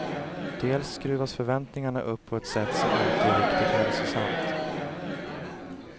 Dels skruvas förväntningarna upp på ett sätt som inte är riktigt hälsosamt.